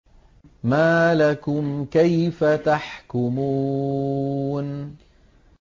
مَا لَكُمْ كَيْفَ تَحْكُمُونَ